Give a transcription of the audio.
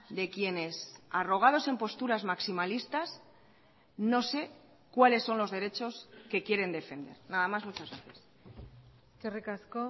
de quienes arrogados en posturas maximalistas no sé cuales son los derechos que quieren defender nada más muchas gracias eskerrik asko